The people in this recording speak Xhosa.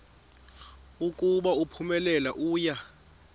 ukuba uphumelele uya